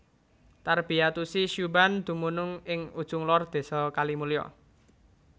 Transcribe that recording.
Tarbiyatusy Syubban dumunung ing ujung lor Désa Kalimulya